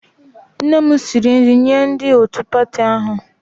Nne m siri nri nye ndị otu pati ahụ